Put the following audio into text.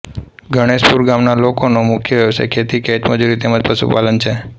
ગણેશપુર ગામના લોકોનો મુખ્ય વ્યવસાય ખેતી ખેતમજૂરી તેમ જ પશુપાલન છે